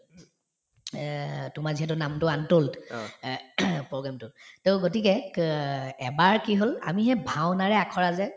এহ্ তোমাৰ যিহেতু নামটো এহ্ program টোত to গতিকে ক এবাৰ কি হল আমি যে ভাওঁনাৰে আখৰা যে